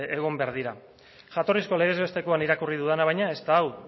egon behar dira jatorrizko legez bestekoan irakurri dudana baina ez da hau